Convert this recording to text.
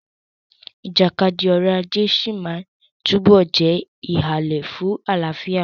Ìjàkadì ọrọ̀ ajé sí máa túbọ̀ jẹ́ ìhàlẹ̀ fún àlàáfíà.